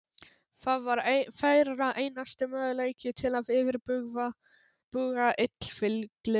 Það var þeirra einasti möguleiki til að yfirbuga illfyglið.